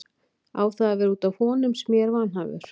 Á það að vera út af honum sem ég er vanhæfur?